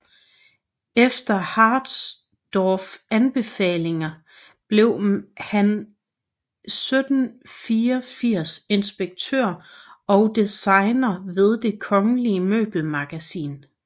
Efter Harsdorffs anbefaling blev han 1784 inspektør og designer ved Det kongelige Møbelmagasin